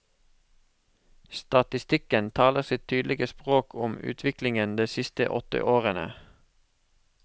Statistikken taler sitt tydelige språk om utviklingen de siste åtte årene.